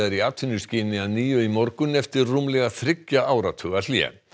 í atvinnuskyni að nýju í morgun eftir rúmlega þriggja áratuga hlé